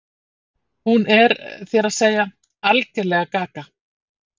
Hún er, þér að segja, algerlega gaga.